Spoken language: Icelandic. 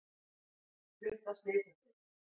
Flutt á slysadeild